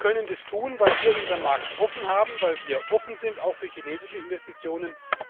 Sie können das tun, weil wir unseren Markt offen haben, weil wir offen sind auch für chinesische Investitionen.